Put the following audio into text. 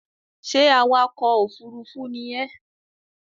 Ṣé awakọ̀ òfúrúúfú ni ẹ?